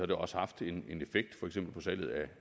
det også haft en effekt for eksempel på salget af